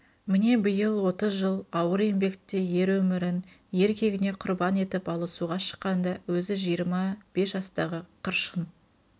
міне биыл отыз жыл ауыр еңбекте ер өмірін ер кегіне құрбан етіп алысуға шыққанда өзі жиырма бес жастағы қыршын